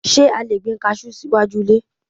Ṣé a lè gbin kajú sí iwájú ilé?